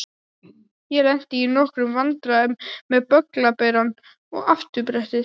Ég lenti í nokkrum vandræðum með bögglaberann og afturbrettið.